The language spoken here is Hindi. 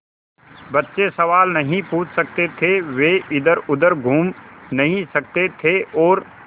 बच्चे सवाल नहीं पूछ सकते थे वे इधरउधर घूम नहीं सकते थे और